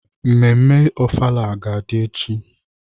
Mmemme ofala ga-adị echi.